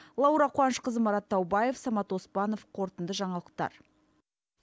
лаура қуанышқызы марат таубаев самат оспанов қорытынды жаңалықтар